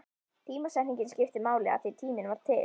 Tímasetningin skipti máli, af því tíminn var til.